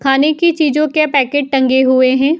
खाने की चीजों के पैकेट टंगे हुए हैं।